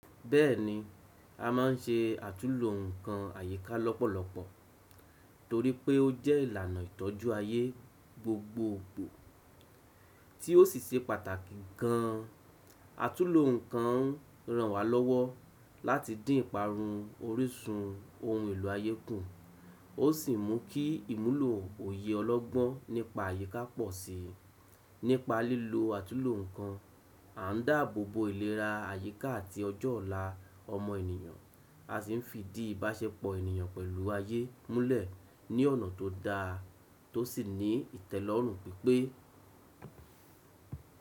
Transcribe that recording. Bẹ́ẹ̀ni, a máa ń ṣe àtúlo nǹkan àyíká lọ́pọ̀lọpọ̀ torí pé ó jẹ́ ìlànà ìtọ́jú ayé gbogbo ipò tí ó sì ṣe pàtàkì gan an. Àtúlo nǹkan ń ràn wá lọ́wọ́ láti dín ìparun orísun ohun èlò ayé kù, ó sì mú kí ìmúlò òye ọlọ́gbọ́n nípa àyíká pọ̀ sí i. Nípa lílo àtúlo nǹkan, a ń dáàbò bo ìlera àyíká àti ọjọ́ ọ̀la ọmọ ènìyàn, a sì ń fi ìdí ìbáṣepọ̀ ènìyàn pẹ̀lú ayé múlẹ̀ ní ọ̀nà tó dáa tó sì ní ìtẹ́lọ́rùn pípé.